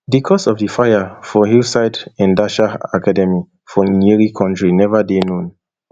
di cause of di fire for hillside endarasha academy for nyeri county neva dey known